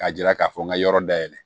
K'a jira k'a fɔ n ka yɔrɔ dayɛlɛ